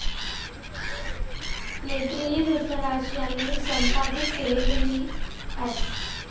मैत्रेयी कृष्णराज यांनी संपादित केलेली व्ही एस.